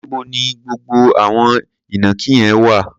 Níbo ni gbogbo àwọn ìnàkí yẹn wà?